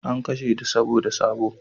An kashe ta saboda sabo